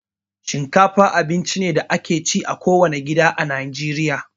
Shinkafa abinci ne da ake ci a kowane gida a Najeriya